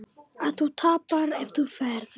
Að þú tapar ef þú ferð.